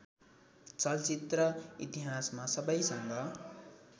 चलचित्र इतिहासमा सबैसँग